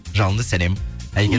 жалынды сәлем әйгерім